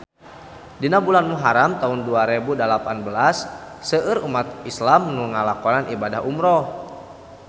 Dina bulan Muharam taun dua rebu dalapan belas seueur umat islam nu ngalakonan ibadah umrah